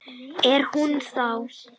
Er hún þá.